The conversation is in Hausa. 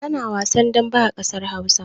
Ana wasan dambe a ƙasar Hausa.